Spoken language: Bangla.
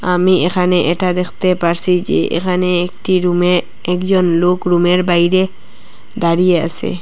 আমি এখানে এটা দেখতে পারসি যে এখানে একটি রুমে একজন লোক রুমের বাইরে দাঁড়িয়ে আসে।